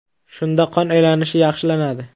Shunda qon aylanishi yaxshilanadi.